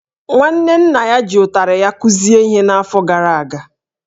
Nwanne nna ya ji ụtarị ya kụzie ihe n’afọ gara aga